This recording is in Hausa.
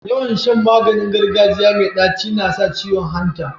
Yawan Shan maganin gargajiya me taci nasa ciwon hanta